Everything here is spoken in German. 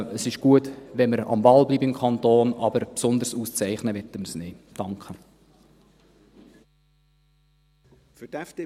Es ist gut, wenn wir am Ball bleiben im Kanton, aber besonders auszeichnen wollen wir es nicht.